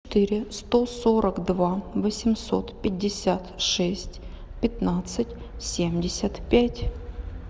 четыре сто сорок два восемьсот пятьдесят шесть пятнадцать семьдесят пять